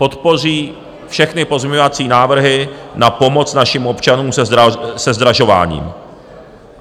Podpoří všechny pozměňovací návrhy na pomoc našim občanům se zdražováním.